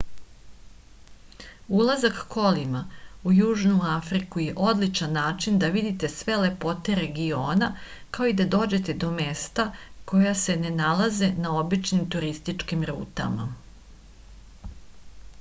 ulazak kolima u južnu afriku je odličan način da vidite sve lepote regiona kao i da dođete do mesta koja se ne nalaze na običnim turističkim rutama